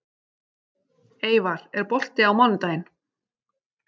Eyvar, er bolti á mánudaginn?